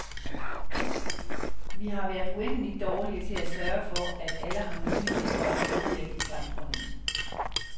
Vi har været uendeligt dårlige til at sørge for, at alle har mulighed for at medvirke i samfundet.